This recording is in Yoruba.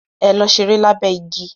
Ẹ̀lò sẹ̀rẹ̀ lábé igi.